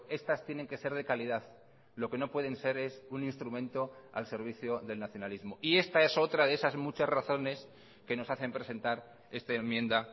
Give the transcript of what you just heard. estas tienen que ser de calidad lo que no pueden ser es un instrumento al servicio del nacionalismo y esta es otra de esas muchas razones que nos hacen presentar esta enmienda